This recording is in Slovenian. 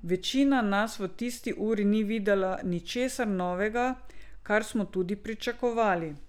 Večina nas v tisti uri ni videla ničesar novega, kar smo tudi pričakovali.